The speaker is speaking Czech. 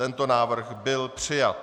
Tento návrh byl přijat.